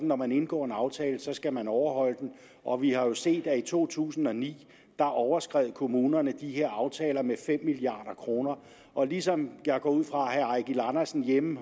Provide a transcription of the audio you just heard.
når man indgår en aftale skal man overholde den og vi har jo set at i to tusind og ni overskred kommunerne de her aftaler med fem milliard kroner og ligesom jeg går ud fra at herre eigil andersen hjemme